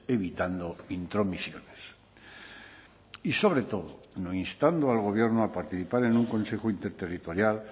evitando intromisiones y sobre todo no instando al gobierno a participar en un consejo interterritorial